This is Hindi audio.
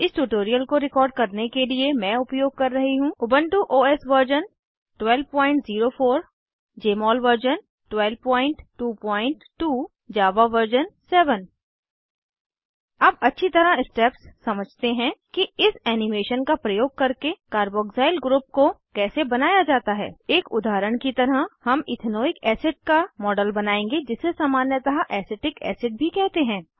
इस ट्यूटोरियल को रिकॉर्ड करने के लिए मैं उपयोग कर रही हूँ Ubuntu OS version 1204 Jmol version 1222 Java version 7 अब अच्छी तरह स्टेप्स समझते हैं कि इस एनीमेशन का प्रयोग करके कार्बोक्सिल ग्रुप को कैसे बनाया जाता है एक उदाहरण की तरह हम इथेनोइक एसिड का मॉडल बनाएंगे जिसे सामान्यतः एसीटिक एसिड भी कहते हैं